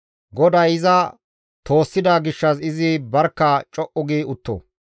GODAY iza toossida gishshas izi barkka co7u gi utto.